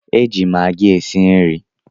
E ji Magi esi nri